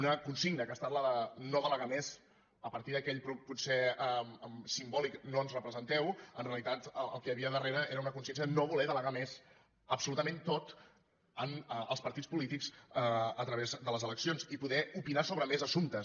una consigna que ha estat la de no delegar més a partir d’aquell potser simbòlic no ens representeu en realitat el que hi havia darrere era una consciència de no voler delegar més absolutament tot en els partits polítics a través de les eleccions i poder opinar sobre més assumptes